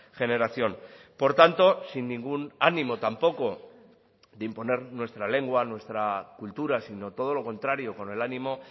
generación por tanto sin ningún ánimo tampoco de imponer nuestra lengua nuestra cultura sino todo lo contrario con el ánimo